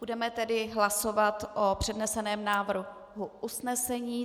Budeme tedy hlasovat o předneseném návrhu usnesení.